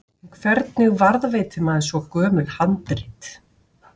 En hvernig varðveitir maður svo gömul handrit?